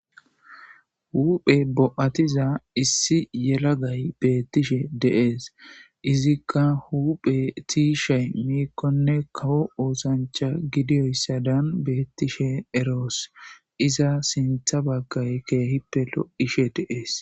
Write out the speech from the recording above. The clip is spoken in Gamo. huphe bo7atiza issi yelagay beettishe deees izikka huphe tiishey miikkonne kawo oosancha gidiyoyssa daan beettishe eroos iza sintha baggay keehippe lo7ishe deees